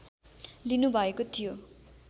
लिनुभएको थियो